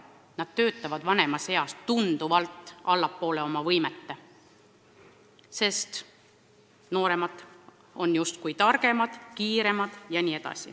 Nad töötavad tunduvalt alla oma võimete, sest nooremad on justkui targemad, kiiremad jne.